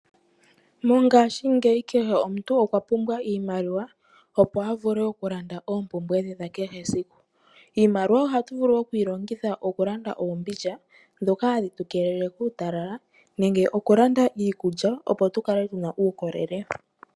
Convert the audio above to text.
Mongaashingeyi kehe omuntu okwa pumbwa iimaliwa, opo a vule oku landa oompumbwe dhe dha kehe esiku. Iimaliwa oha tu vulu oku yi longitha oku landa oombundja, ndhoka hadhi tu keelele kuutalala, nenge oku landa iikulya, opo tu kale tu na uukolele.